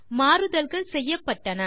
மாறுதல்கள் செய்யப்பட்டன